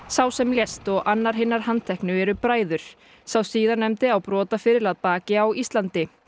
sá sem lést og annar hinna handteknu eru bræður sá síðarnefndi á brotaferil að baki á Íslandi